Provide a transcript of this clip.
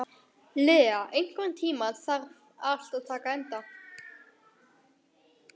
Lea, einhvern tímann þarf allt að taka enda.